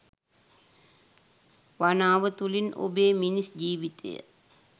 වනාව තුළින් ඔබේ මිනිස් ජීවිතය